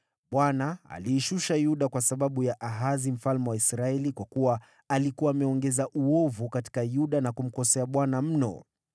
Bwana aliishusha Yuda kwa sababu ya Ahazi mfalme wa Israeli, kwa kuwa alikuwa ameongeza uovu katika Yuda na kumkosea Bwana mno.